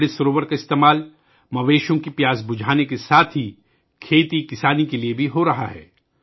امرت سروور کو جانوروں کی پیاس بجھانے کے ساتھ ساتھ کھیتی باڑی کے لئے بھی استعمال کیا جا رہا ہے